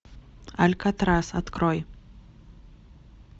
алькатрас открой